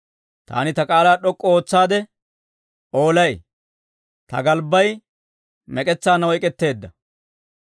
Taani ta k'aalaa d'ok'k'u ootsaade oolay; ta galbbay mek'etsaanna oyk'k'etteedda.